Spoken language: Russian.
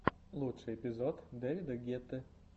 лучший эпизод дэвида гетты